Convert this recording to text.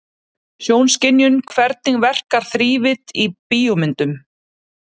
Sjónskynjun Hvernig verkar þrívídd í bíómyndum?